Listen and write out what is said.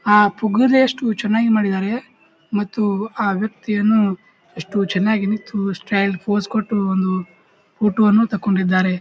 ಆಹ್ ಪುಗ್ಗಿರೆಷ್ಟು ಚನ್ನಾಗಿ ಮಾಡಿದ್ದಾರೆ ಮತ್ತು ಆ ವ್ಯಕ್ತಿಯನ್ನು ಎಷ್ಟು ಚನ್ನಾಗಿ ನಿತ್ತು ಸ್ಟೈಲ್ಡ್ ಫೋಸ್ ಕೊಟ್ಟು ಒಂದು ಫೋಟೋವನ್ನು ತಕೊಂಡಿದ್ದಾರೆ.